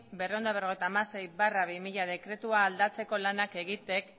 berrehun eta berrogeita hamasei barra bi mila dekretua aldatzeko lanak egiten